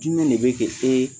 Jumɛn de bɛ kɛ e